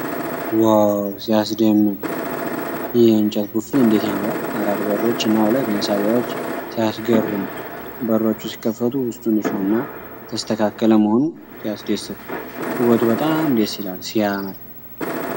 ዋው! ሲያስደምም! ይህ የእንጨት ቡፌ እንዴት ያምራል! አራት በሮች እና ሁለት መሳቢያዎች ሲያስገርሙ! በሮቹ ሲከፈቱ ውስጡ ንፁህና የተስተካከለ መሆኑ ሲያስደስት! ውበቱ በጣም ደስ ይላል። ሲያምር!